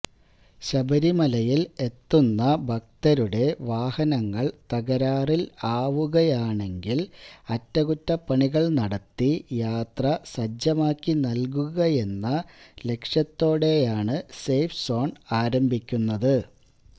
ശബരിമലയില് എത്തുന്ന ഭക്തരുടെ വാഹനങ്ങള് തകരാറില് ആവുകയാണെങ്കില് അറ്റകുറ്റപ്പണികള് നടത്തി യാത്ര സജ്ജമാക്കി നല്കുകയെന്ന ലക്ഷ്യത്തോടയാണ് സേഫ് സോണ് ആരംഭിക്കുന്നത്